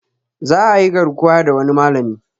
Za ayi garkuwa da wani malami